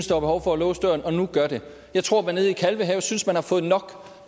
der var behov for at låse døren og nu gør det jeg tror at man nede i kalvehave synes man har fået nok